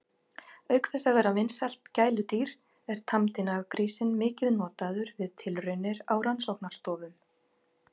Auk þess að vera vinsælt gæludýr er tamdi naggrísinn mikið notaður við tilraunir á rannsóknastofum.